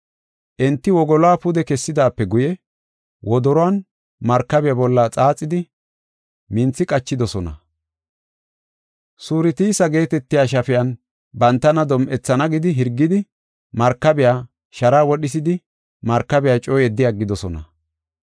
Enti wogoluwa pude kessidaape guye wodoruwan markabiya bolla xaaxidi, minthi qachidosona. Surtisa geetetiya shafiyan bantana dom7ethana gidi hirgidi, markabiya sharaa wodhisidi markabiya coo yeddi aggidosona.